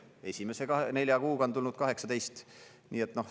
Esimese nelja kuuga on tulnud 18.